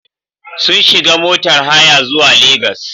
Sun shiga motar haya zuwa Legas.